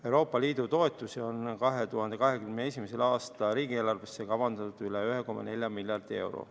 Euroopa Liidu toetusi on 2021. aasta riigieelarvesse kavandatud üle 1,4 miljardi euro.